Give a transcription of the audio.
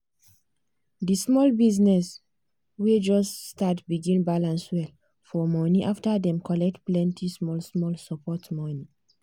di small business wey just start begin balance well for money after dem collect plenty small-small support money.